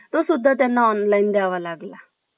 तो सुद्धा त्यांना online देवा लागला.